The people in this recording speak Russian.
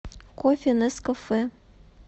кофе нескафе